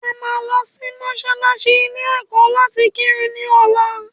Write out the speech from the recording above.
À máa lọ sí mọ́sálásí ilé ẹ̀kọ́ láti kírun ní ọ̀la